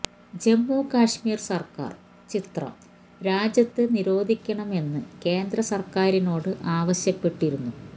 ജമ്മു കാശ്മീര് സര്ക്കാര് ചിത്രം രാജ്യത്ത് നിരോധിക്കണം എന്ന് കേന്ദ്ര സര്ക്കാറിനോട് ആവശ്യപ്പെട്ടിരുന്നു